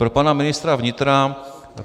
Pro pana ministra vnitra.